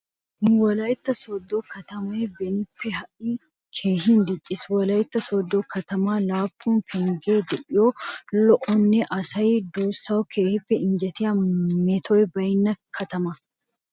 Nu wolaytta sooddo katamay benippe ha"i keehin dicciis. Wolaytta sooddo katamay laappun penggee de'iyo lo'onne asaa duussawu keehin injjetiya metoy baynna katama.